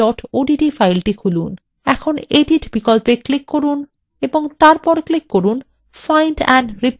এখন edit বিকল্পে click করুন এবং তারপর click করুন find and replace